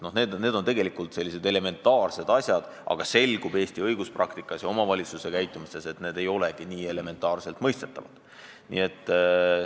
Need on tegelikult elementaarsed reeglid, aga Eesti õiguspraktikast ja omavalitsuste käitumisest on selgunud, et neid nii iseenesestmõistetavaks ei peetagi.